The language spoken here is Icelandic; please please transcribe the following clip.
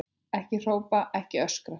Ekki hrópa, ekki öskra!